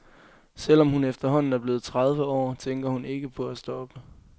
Selv om hun efterhånden er blevet tredive år, tænker hun ikke på at stoppe.